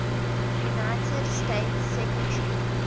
united states secretary